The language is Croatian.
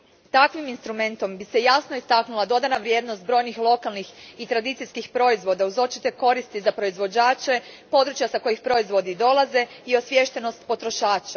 Takvim instrumentom bi se jasno istaknula dodana vrijednost brojnih lokalnih i tradicijskih proizvoda, uz očite koristi za proizvođače, područja s kojih proizvodi dolaze i osviještenost potrošača.